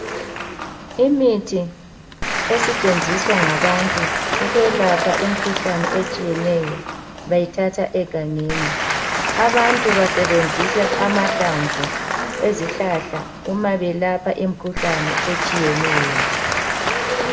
Imithi esetshenziswa ngabantu ukwelapha imikhuhlane etshiyeneyo bayithatha egangeni. Abantu basebenzisa amahlamvu ezihlahla uma belapha imikhuhlane etshiyeneyo.